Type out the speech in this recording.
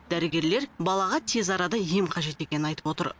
дәрігерлер балаға тез арада ем қажет екенін айтып отыр